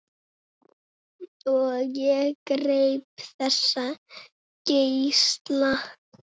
Og ég greip þessa geisla.